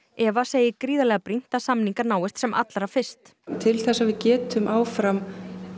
Eva segir gríðarlega brýnt að samningar náist sem allra fyrst til þess að við getum áfram